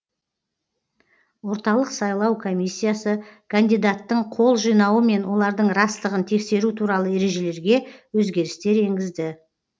орталық сайлау комиссиясы кандидаттың қол жинауы мен олардың растығын тексеру туралы ережелерге өзгерістер енгізді